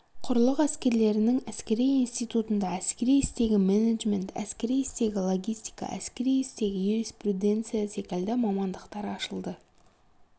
құрлық әскерлерінің әскери институтында әскери істегі менеджмент әскери істегі логистика әскери істегі юриспруденция секілді мамандықтар ашылды